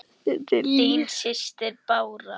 Þín systir, Bára.